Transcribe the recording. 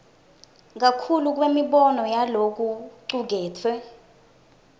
kakhulu kwemibono yalokucuketfwe